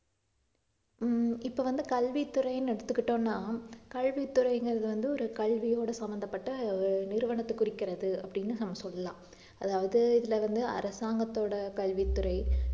ஹம் இப்ப வந்து கல்வித்துறைன்னு எடுத்துக்கிட்டோம்னா கல்வித்துறைங்கிறது வந்து ஒரு கல்வியோட சம்பந்தப்பட்ட ஒரு நிறுவனத்தைக் குறிக்கிறது அப்படின்னு சொல்லலாம் அதாவது இதுல வந்து அரசாங்கத்தோட கல்வித்துறை